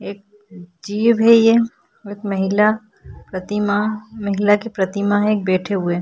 एक जीव है ये एक महिला प्रतिमा महिला की प्रतिमा है एक बैठे हुए।